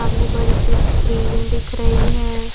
सामने बड़ी सी स्क्रीन दिख रही है।